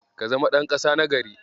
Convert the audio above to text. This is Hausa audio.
Ka zama ɗan ƙasa na gari.